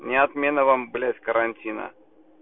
не отмена вам блять карантина